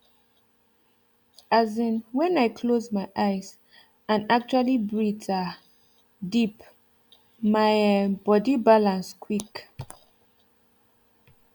as in when i close my eyes and actually breathe um deep my um body balance quick